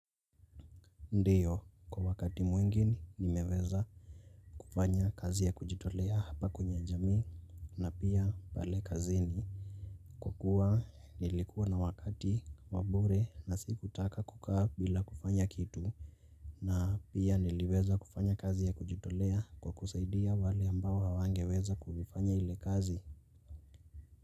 Ndiyo kwa wakati mwingine nimeweza kufanya kazi ya kujitolea hapa kwenye jamii na pia pale kazini kukuwa nilikuwa na wakati wa bure na sikutaka kukaa bila kufanya kitu na pia niliweza kufanya kazi ya kujitolea kwa kusaidia wale ambao hawangeweza kufanya ile kazi.